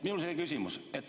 Minul on selline küsimus.